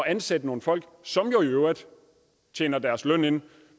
ansætte nogle folk som jo i øvrigt tjener deres løn ind